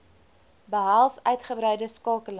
behels uitgebreide skakeling